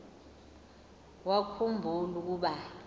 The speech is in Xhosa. wakhu mbula ukuba